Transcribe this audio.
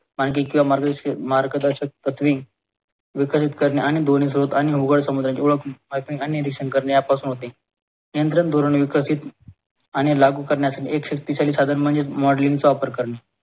आणखी किंवा मार्गदर्शक मार्गदर्शक तत्त्वे विकसित करणे आणि ध्वनी सोबत आणि ओघळ समुद्राचे ओळख आणि करणे यापासून होते केंद्र आणि धोरण विकसित आणि लागू करण्यासाठी एक शक्तिशाली साधन म्हणजेच modeling चा वापर करणे.